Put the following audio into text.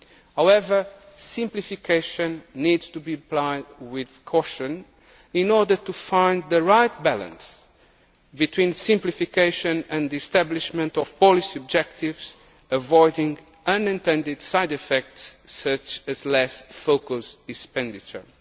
controls. However, simplification needs to be applied with caution in order to find the right balance between simplification and establishment of policy objectives, avoiding unintended side effects such as less focused expenditure.